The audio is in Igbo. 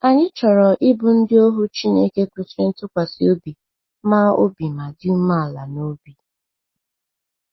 Anyị chọrọ ịbụ ndị ohu Chineke kwesịrị ntụkwasị obi ma obi ma dị umeala n’obi.